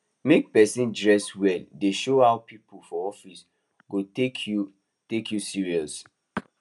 make person dress well dey show how people for office go take you take you serious